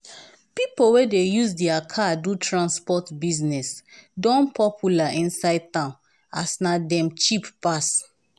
pipo wey dey use dia car do transport business don popular inside town as na dem cheap pass.